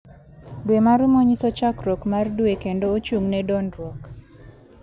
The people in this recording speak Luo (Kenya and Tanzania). Dwe ma rumo nyiso chakruok mar dwe kendo ochung'ne dongruok.